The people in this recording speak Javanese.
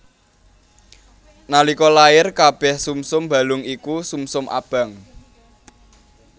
Nalika lair kabèh sumsum balung iku sumsum abang